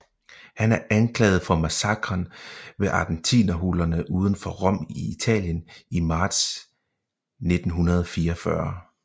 Han er anklaget for massakren ved Ardentinerhulerne uden for Rom i Italien i marts 1944